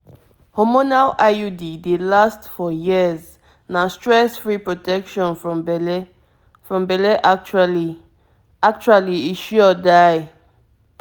hormonal iud dey last for years na stress-free protection from belle. from belle. actually actually e sure die!